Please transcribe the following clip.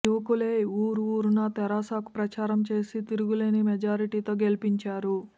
యువకులే ఊరు ఊరునా తెరాసాకు ప్రచారం చేసి తిరుగులేని మెజారిటీతో గెలిపించారు